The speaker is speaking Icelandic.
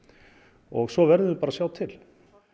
og svo verðum við bara að sjá til